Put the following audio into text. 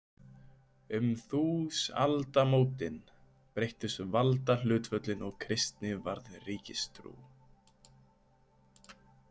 Um þúsaldamótin breyttust valdahlutföllin og kristni varð ríkistrú.